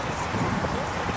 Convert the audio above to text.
Baqaj qapısı.